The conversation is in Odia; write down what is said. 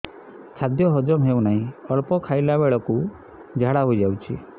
ଖାଦ୍ୟ ହଜମ ହେଉ ନାହିଁ ଅଳ୍ପ ଖାଇଲା ବେଳକୁ ଝାଡ଼ା ହୋଇଯାଉଛି